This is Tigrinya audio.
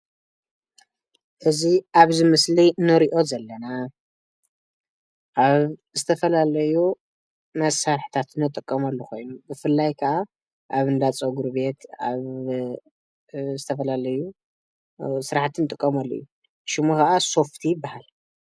እዚ ኣብ እዚ ምስሊ ንርኦ ዘለና ኣብ ዝተፈላለዩ መሳርሕታት ንጥቀምሉ ኮይኑ ብፍላይ ካዓ ኣብ እንዳ ፀጉሪ ቤት ኣብ ዝተፈላለዩ ስራሕቲ ንጥቀመሎም እዩ። ሽሙ ከዓ ሶፍቲ ይብሃል።